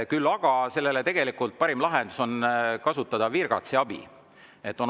Aga tegelikult on parim lahendus sel juhul kasutada virgatsi abi.